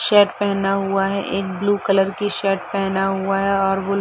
shirt पहना हुआ है एक ब्लू कलर की शर्ट पहना हुआ है और वो --